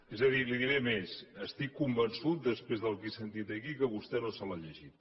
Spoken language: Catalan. és a dir li diré més estic convençut després del que he sentit aquí que vostè no se l’ha llegit